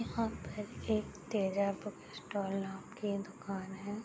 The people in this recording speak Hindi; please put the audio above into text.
यहाँ पर एक तेजा बुक स्टॉल नाम की दुकान है।